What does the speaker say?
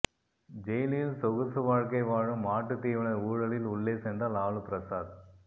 ஜெயிலில்சொகுசு வாழ்க்கை வாழும் மாட்டுத் தீவன ஊழலில் உள்ளே சென்ற லாலு பிரசாத்